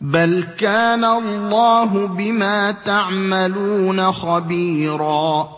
بَلْ كَانَ اللَّهُ بِمَا تَعْمَلُونَ خَبِيرًا